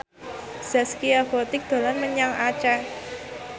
Zaskia Gotik dolan menyang Aceh